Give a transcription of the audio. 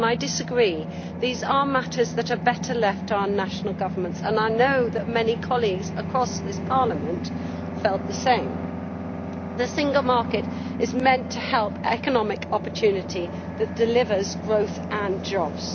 I disagree these are matters that are better left to our national governments, and I know that many colleagues across this Parliament felt the same. The Single Market is meant to help economic opportunity that delivers growth and jobs.